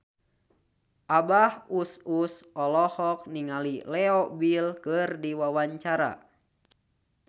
Abah Us Us olohok ningali Leo Bill keur diwawancara